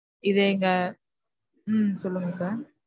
இது எங்க உம் சொல்லுங்க sir.